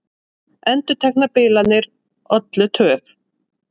Endurteknar bilanir ollu töf